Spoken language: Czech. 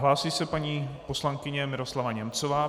Hlásí se paní poslankyně Miroslava Němcová.